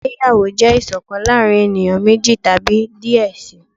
ìgbéyàwó jẹ iṣọkan láàrin eniyan meji tabi diẹ sii.